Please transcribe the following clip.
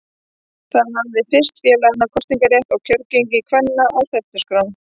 Það hafði fyrst félaga kosningarétt og kjörgengi kvenna á stefnuskrá.